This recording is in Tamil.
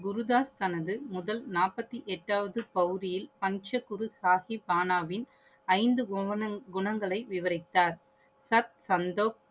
குருஜாஸ் தனது முதல் நாற்பத்தி எட்டாவது பௌதியில் பஞ்ச குரு சாஹிப் பானாவின் ஐந்து குணங்களை விவரித்தார். சத், சந்தோக்